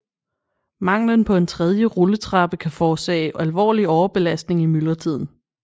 Manglen på en tredje rulletrappe kan forårsage alvorlig overbelastning i myldretiden